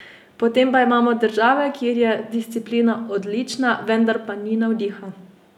Potem pa imamo države, kjer je disciplina odlična, vendar pa ni navdiha.